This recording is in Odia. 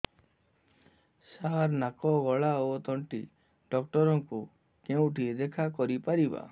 ସାର ନାକ ଗଳା ଓ ତଣ୍ଟି ଡକ୍ଟର ଙ୍କୁ କେଉଁଠି ଦେଖା କରିପାରିବା